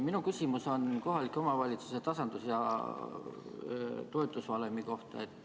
Minu küsimus on kohalike omavalitsuste tasandus- ja toetusvalemi kohta.